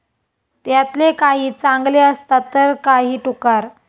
त्यातले काही चांगले असतात तर काही टुकार.